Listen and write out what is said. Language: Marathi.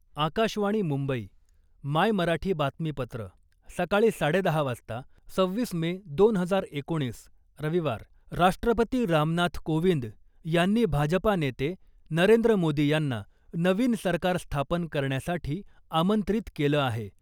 आकाशवाणी मुंबई, मायमराठी बातमीपत्र, सकाळी साडेदहा वाजता, सव्वीस मे , दोन हजार एकोणीस, रविवार, राष्ट्रपती रामनाथ कोविंद यांनी भाजपा नेते नरेंद्र मोदी यांना नवीन सरकार स्थापन करण्यासाठी आमंत्रित केलं आहे .